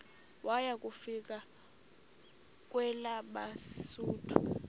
waya kufika kwelabesuthu